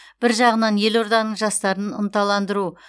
бір жағынан елорданың жастарын ынталандыру